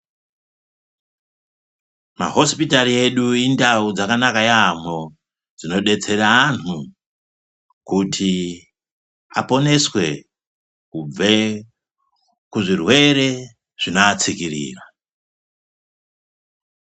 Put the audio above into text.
Mahosipitari edu indau dzakanaka yamho dzinodetsera anhu kuti aponeswe kubve kuzvirwere zvinoatsikirira .